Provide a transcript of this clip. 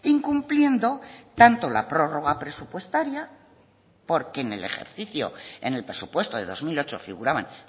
incumpliendo tanto la prórroga presupuestaria porque en el ejercicio en el presupuesto de dos mil ocho figuraban